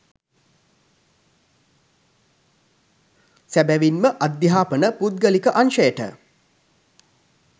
සැබැවින්ම අධ්‍යාපන පුද්ගලික අංශයට